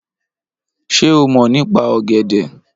Ṣé o mọ̀ nípa ọ̀gẹ̀dẹ̀?